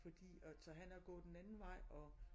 Fordi og så han er gået den anden vej og